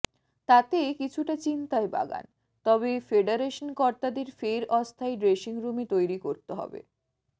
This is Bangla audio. তাতে কিছুটা চিন্তায় বাগান তবে ফেডারেশন কর্তাদের ফের অস্থায়ী ড্রেসিংরুম তৈরি করতে হবে